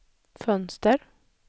fönster